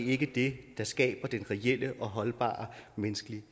ikke det der skaber den reelle og holdbare menneskelige